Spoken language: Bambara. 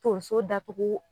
Tonso datugu